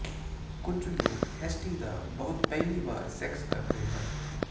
ਕੁਝ ਲੋਕ S T ਦਾ ਬਹੁਤ ਪਹਿਲੀ ਵਾਰ ਸੈਕਸ ਕਰਦੇ ਹਨ